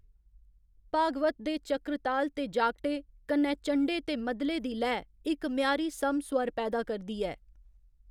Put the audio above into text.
भागवत दे चक्रताल ते जागटे, कन्नै चण्डे ते मद्दले दी लैऽ इक म्यारी समस्वर पैदा करदी ऐ।